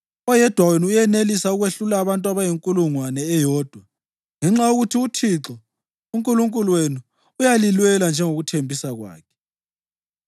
Oyedwa wenu uyenelisa ukwehlula abantu abayinkulungwane eyodwa ngenxa yokuthi uThixo uNkulunkulu wenu uyalilwela njengokuthembisa kwakhe.